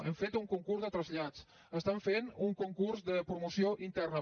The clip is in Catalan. hem fet un concurs de trasllats estan fent un concurs de promoció interna